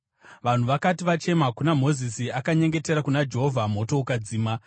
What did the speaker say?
Vanhu vakati vachema kuna Mozisi, akanyengetera kuna Jehovha moto ukadzima.